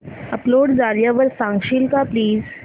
upload झाल्यावर सांगशील का प्लीज